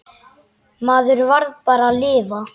Maður varð bara að lifa.